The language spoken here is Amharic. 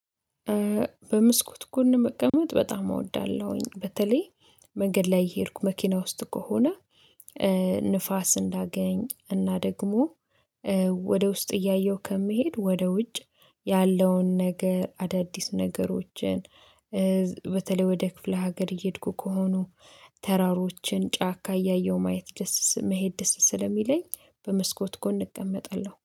በሞስኩት ጎን መቀመጥ በጣም እወዳለሁኝ በተለይ መንገድ ላይ እየሄድኩ መኪና ውስጥ ከሆነ። ንፋስ እንዳገኝ እና ደግሞ ወደ ውስጥ እያየሁ ከመሄድ ወደ ውጭ ያለውን ነገር አዳዲስ ነገሮችን። በተለይ ወደ ክፍለ ሀገር እየሄድኩ ከሆኑ ተራሮችን ጫካ እያየሁ ማየት ደስ መሄድ ደስ ስለሚለኝ በመስኮት ጎን እቀመጣለሁ